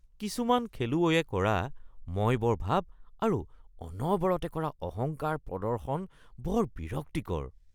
কিছুমান খেলুৱৈয়ে কৰা মইবৰ ভাব আৰু অনবৰতে কৰা অহংকাৰ প্ৰদৰ্শন বৰ বিৰক্তিকৰ